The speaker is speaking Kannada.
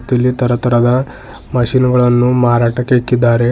ಇಲ್ಲಿ ತರ ತರದ ಮಷೀನ್ ಗಳನ್ನು ಮಾರಾಟಕ್ಕೆ ಇಕ್ಕಿದ್ದಾರೆ.